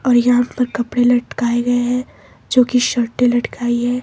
और यहां पर कपड़े लटकाए गए हैं जो की शर्टे लटकाई है।